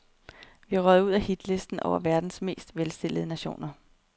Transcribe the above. Vi er røget ud af hitlisten over verdens mest velstillede nationer.